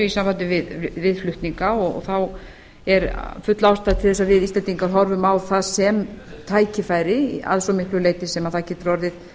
sambandi við flutninga og þá er full ástæða til þess að við íslendingar horfum á það sem tækifæri að svo miklu leyti sem það getur orðið